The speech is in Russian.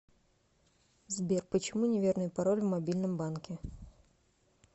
сбер почему неверный пароль в мобильном банке